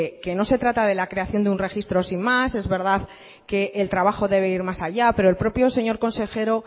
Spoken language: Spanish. que no se trata de la creación de un registro sin más es verdad que el trabajo debe ir más allá pero el propio señor consejero